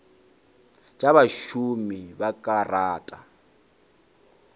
tša bašomi ba ka rata